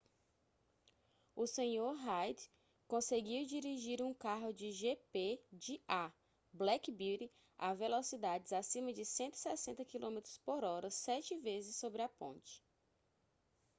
o senhor reid conseguiu dirigir um carro de gp de a black beauty a velocidades acima de 160 km/h sete vezes sobre a ponte